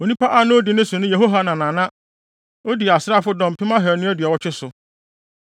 Onipa a na odi ne so ne Yehohanan a na odi asraafodɔm mpem ahannu aduɔwɔtwe (280,000) so.